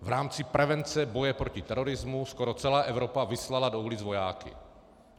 V rámci prevence boje proti terorismu skoro celá Evropa vyslala do ulic vojáky.